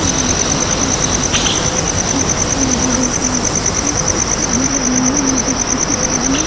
Gate जैसा लग रहा है और काफी बड़ा गेट है उधर गाड़ी लगी हुई हैं ये दिल्ली की गाड़ी लगी हुई है।